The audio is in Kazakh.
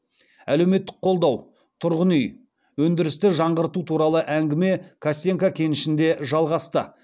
әлеуметтік қолдау тұрғын үй өндірісті жаңғырту туралы әңгіме костенко кенішінде жалғасты